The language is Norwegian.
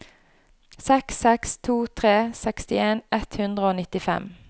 seks seks to tre sekstien ett hundre og nittifem